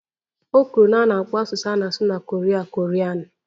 O kwuru na a na-akpọ asụsụ a na-asụ na Koria